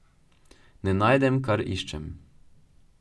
Ne najdem, kar iščem.